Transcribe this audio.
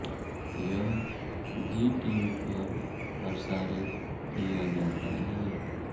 यह Zee TV पर प्रसारित किया जाता है